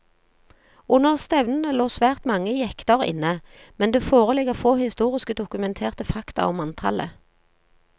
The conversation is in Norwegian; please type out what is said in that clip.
Under stevnene lå svært mange jekter inne, men det foreligger få historiske dokumenterte fakta om antallet.